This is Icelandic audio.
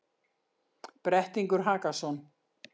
Brettingur Hakason,